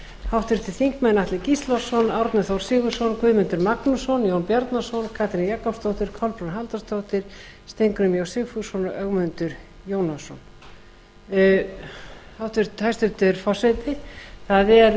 háttvirtir þingmenn atli gíslason árni þór sigurðsson guðmundur magnússon jón bjarnason katrín jakobsdóttir kolbrún halldórsdóttir steingrímur j sigfússon og ögmundur jónasson hæstvirtur forseti það er